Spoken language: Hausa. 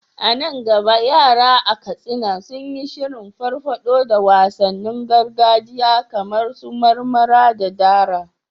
A nan gaba yara a Katsina sun yi shirin farfado da wasannin gargajiya kamar su marmara da dara.